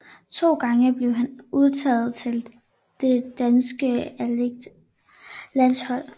To gange blev han udtaget til det danske atletik landshold